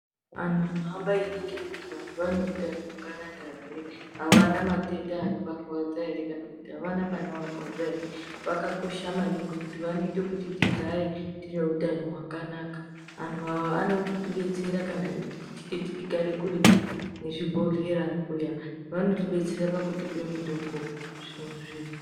Anhu anohamba einingire kuti vantu vane utano hwakananka ere avana matenda anovarwadza ere kana kuti avana panovarwadza ere vakakosha maningi ngekutii vanoite kuti tigare tineutano hwakanaka antu ava vanotibetsera kana tichinge tichigare kuretu nechibhehlera kuya vanotibetsera pakutipe mutombo zvinova zviro zvakanaka yaamho.